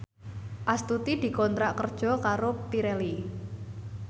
Astuti dikontrak kerja karo Pirelli